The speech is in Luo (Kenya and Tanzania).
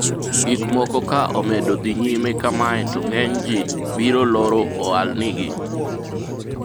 gikmoko ka omedo dhi nyime kamae to ng'enyji biro loro ohalnigi